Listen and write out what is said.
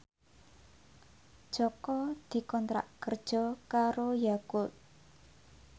Jaka dikontrak kerja karo Yakult